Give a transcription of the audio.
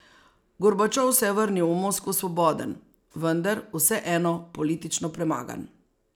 Gorbačov se je vrnil v Moskvo svoboden, vendar vseeno politično premagan.